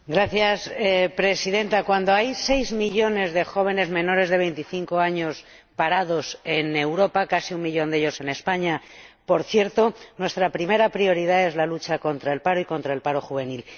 Señora Presidenta, cuando hay seis millones de jóvenes menores de 25 años parados en Europa ―por cierto, casi un millón de ellos en España―, nuestra primera prioridad es la lucha contra el paro y contra el paro juvenil.